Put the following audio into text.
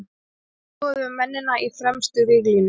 Nú skoðum við mennina í fremstu víglínu.